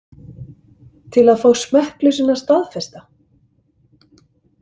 Til að fá smekkleysuna staðfesta?